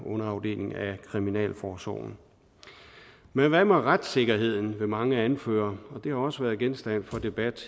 underafdeling af kriminalforsorgen men hvad med retssikkerheden vil mange anføre og det har også været genstand for debat